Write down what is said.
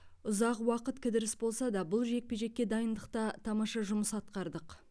ұзақ уақыт кідіріс болса да бұл жекпе жекке дайындықта тамаша жұмыс атқардық